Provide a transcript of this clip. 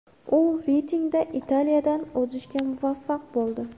U reytingda Italiyadan o‘zishga muvaffaq bo‘ldi.